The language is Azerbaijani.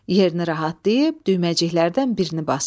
Yerini rahatlayıb düyməciklərdən birini basır.